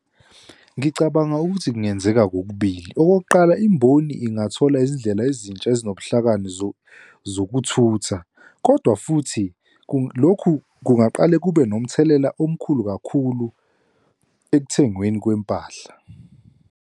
Ngicabanga ukuthi kungenzeka kokubili. Okokuqala, imboni ingathola izindlela ezintsha ezinobuhlakani zokuthutha, kodwa futhi lokhu kungaqale kube nomthelela omkhulu kakhulu ekuthengweni kwempahla.